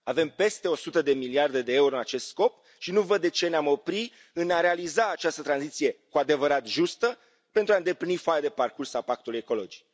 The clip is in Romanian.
Avem peste 100 de miliarde de euro în acest scop și nu văd de ce ne am opri în a realiza această tranziție cu adevărat justă, pentru a îndeplini foaia de parcurs a Pactului ecologic.